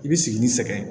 I bi sigi ni sɛgɛn ye